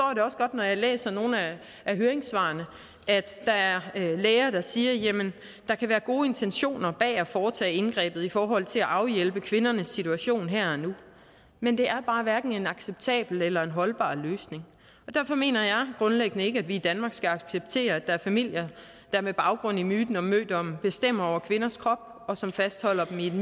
når jeg læser nogle af høringssvarene at der er læger der siger at der kan være gode intentioner bag at foretage indgrebet i forhold til at afhjælpe kvindernes situation her og nu men det er bare hverken en acceptabel eller holdbar løsning derfor mener jeg grundlæggende ikke at vi i danmark skal acceptere at der er familier der med baggrund i myten om mødommen bestemmer over kvinders krop og som fastholder dem